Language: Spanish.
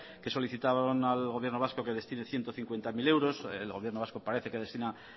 que solicitaron al gobierno vasco que destine ciento cincuenta mil euros el gobierno vasco parece que destina